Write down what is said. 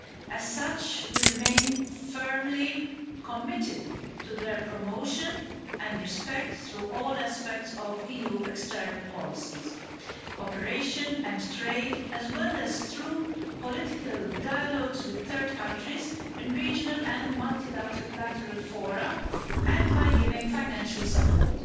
As such, we remain firmly committed to their promotion and respect through all aspects of EU external policies, cooperation and trade, as well as through political dialogues with third countries in regional and multilateral lateral fora and by giving financial support.